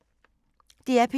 DR P2